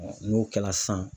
n'o kɛla sisan